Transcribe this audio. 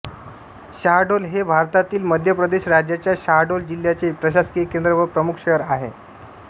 शाहडोल हे भारतातील मध्य प्रदेश राज्याच्या शाहडोल जिल्ह्याचे प्रशासकीय केंद्र व प्रमुख शहर आहे